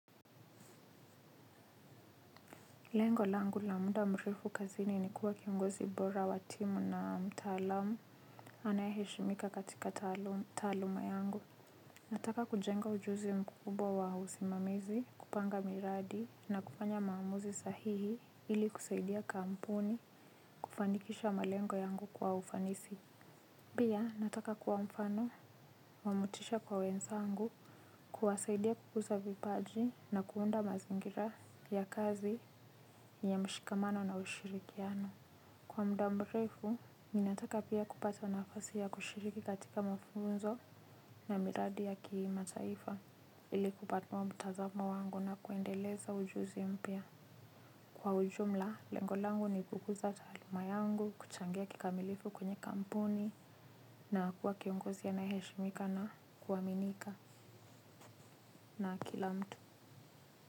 Lengo langu la muda mrefu kazini ni kuwa kiongozi bora wa timu na mtaalamu anayeheshimika katika taaluma yangu. Nataka kujenga ujuzi mkubwa wa usimamizi, kupanga miradi na kufanya maamuzi sahihi ili kusaidia kampuni kufanikisha malengo yangu kwa ufanisi. Pia nataka kuwa mfano wa motisha kwa wenzangu kuwasaidia kukuza vipaji na kuunda mazingira ya kazi ya mshikamano na ushirikiano. Kwa muda mrefu, ninataka pia kupata nafasi ya kushiriki katika mafunzo na miradi ya kimataifa ili kupanua mtazamo wangu na kuendeleza ujuzi mpya. Kwa ujumla, lengo langu ni kukuza taaluma yangu, kuchangia kikamilifu kwenye kampuni na kuwa kiongozi anayeheshimika na kuaminika na kila mtu.